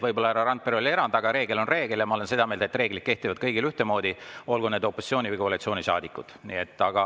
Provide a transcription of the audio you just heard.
Võib-olla härra Randpere oli erand, aga reegel on reegel ja ma olen seda meelt, et reeglid kehtivad kõigile ühtemoodi, olgu need opositsiooni‑ või koalitsioonisaadikud.